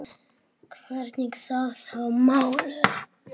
Hvernig standa þau mál?